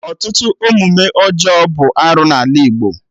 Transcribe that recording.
Ọtụtụ omume ọjọọ bụ arụ n'ala Igbo